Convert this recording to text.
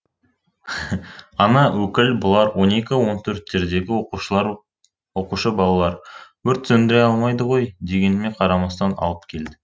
ана өкіл бұлар он екі он төрттердегі оқушылар оқушы балалар өрт сөндіре алмайды ғой дегеніме қарамастан алып келді